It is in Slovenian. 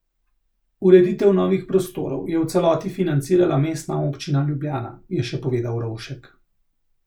Ureditev novih prostorov je v celoti financirala Mestna občina Ljubljana, je še povedal Rovšek.